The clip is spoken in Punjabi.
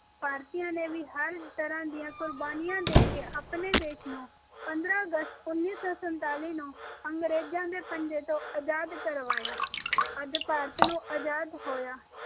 ਭਾਰਤੀਆਂ ਨੇ ਵੀ ਹਰ ਤਰ੍ਹਾਂ ਦੀ ਕੁਰਬਾਨੀਆਂ ਦ ਕੇ ਆਪਣੇ ਦੇਸ਼ ਨੂੰ ਪੰਦਰਾਂ ਅਗਸਤ ਉੱਨੀ ਸੌ ਸੰਤਾਲੀ ਨੂੰ ਅੰਗਰੇਜਾਂ ਦੇ ਪੰਜੇ ਤੋਂ ਆਜ਼ਾਦ ਕਰਵਾਇਆ ਅੱਜ ਭਾਰਤ ਨੂੰ ਆਜ਼ਾਦ ਹੋਇਆ